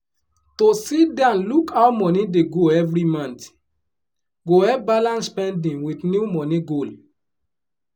to sit down look how money dey go every month go help balance spending with new money goal.